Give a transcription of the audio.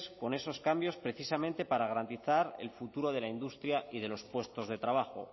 con esos cambios precisamente para garantizar el futuro de la industria y de los puestos de trabajo